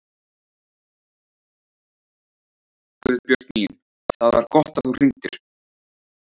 Guðbjörg mín, það var gott að þú hringdir.